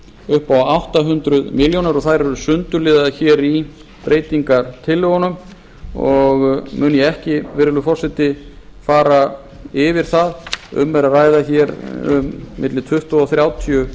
upp á átta hundruð milljóna króna þær eru sundurliðaðar í breytingartillögunum og mun ég ekki virðulegur forseti fara yfir það um er að ræða milli tuttugu og þrjátíu